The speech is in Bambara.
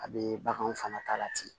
A bɛ baganw fana ta la ten